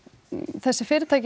þessi fyrirtæki